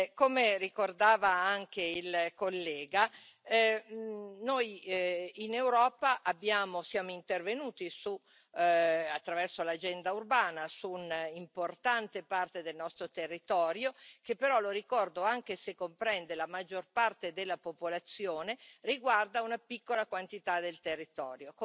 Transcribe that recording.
Come ricordava anche il collega, noi in Europa siamo intervenuti, attraverso l'agenda urbana, su un'importante parte del nostro territorio, che però, lo ricordo, anche se comprende la maggior parte della popolazione, riguarda una piccola quantità del territorio.